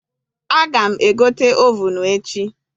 Aga m egote ovunu echi.